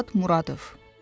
Murad Muradov.